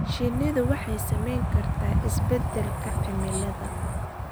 Shinnidu waxay saamayn kartaa isbeddelka cimilada.